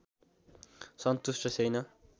सन्तुष्ट छैन